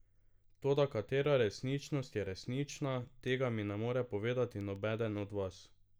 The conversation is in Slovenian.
Toda katera resničnost je resnična, tega mi ne more povedati nobeden od vas.